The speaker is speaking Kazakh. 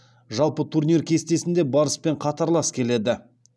жалпы турнир кестесінде барыспен қатарлас келеді